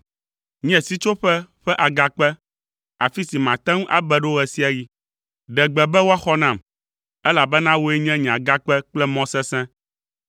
Nye sitsoƒe ƒe agakpe, afi si mate ŋu abe ɖo ɣe sia ɣi. Ɖe gbe be woaxɔ nam, elabena wòe nye nye agakpe kple mɔ sesẽ.